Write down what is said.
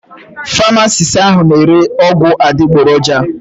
Pamasist ahụ n' ere ọgwụ adịgboroja.